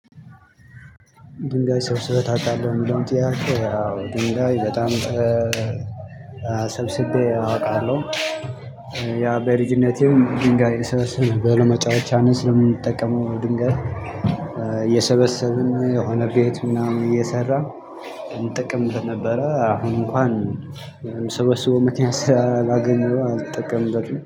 ድንጋይ ሰብስበህ ታውቃለህ የሚለውን ያው ድንጋይ በጣም ሰብስቤ አውቃለሁ ያው በልጅነቴ ድንጋይ እሰበስብ ነበር ለመጫወቻነት ስለምንጠቀመው ድንጋይ እየሰበሰብን የሆነ ቤት ምናምን እየሰራሁ እንጠቀምበት ነበረ። አሁን እንኳን የምሰበስበው ምክያት ስላላገኘሁ አልጠቀምበትም።